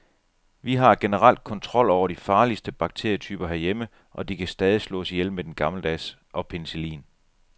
Vi har generelt kontrol over de farligste bakterietyper herhjemme, og de kan stadig slås ihjel med den gammeldags og penicillin.